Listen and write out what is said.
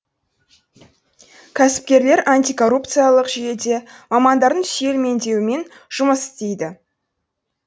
кәсіпкерлер антикоррупциялық жүйеде мамандардың сүйемелдеуімен жұмыс істейді